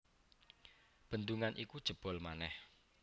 Bendungan iku jebol manèh